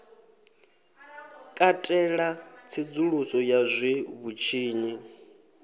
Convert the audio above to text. katela tsedzuluso ya zwe vhutshinyi